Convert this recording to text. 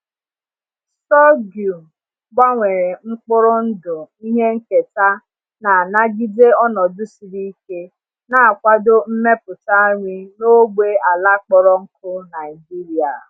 Sorghum gbanwere mkpụrụ ndụ ihe nketa na-anagide ọnọdụ siri ike, na-akwado mmepụta nri n’ógbè ala kpọrọ nkụ Naijiria.